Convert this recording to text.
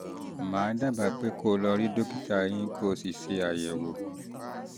màá dábàá pé kó o lọ rí dókítà eyín kó o sì ṣe àyẹ̀wò